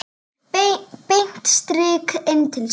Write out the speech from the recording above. Beint strik inn til sín.